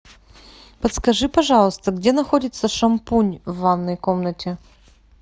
подскажи пожалуйста где находится шампунь в ванной комнате